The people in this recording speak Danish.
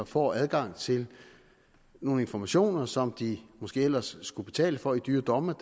får adgang til nogle informationer som de måske ellers skulle betale for i dyre domme